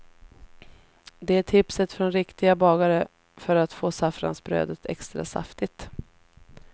Det är tipset från riktiga bagare för att få saffransbrödet extra saftigt.